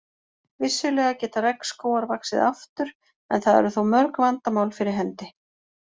Vissulega geta regnskógar vaxið aftur en það eru þó mörg vandamál fyrir hendi.